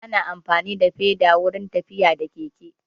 Ana amfani da feda wurin tafiya da keke